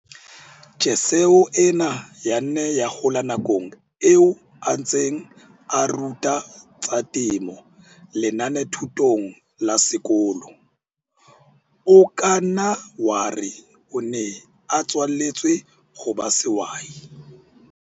Tjheseho ena ya nna ya hola nakong eo a ntseng a ruta tsa temo lenanethutong la sekolo. O ka nna wa re o ne a tswaletswe ho ba sehwai.